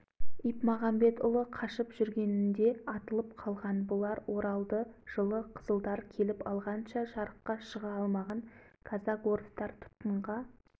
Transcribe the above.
съезд мүшелерінің қолға түскенін қамап тастаған қолға түспегендері қашып кеткен қаратайұлы қолға түсіп казак-орыстардың түрмесіне жабылған